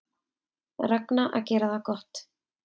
Ragna að gera það gott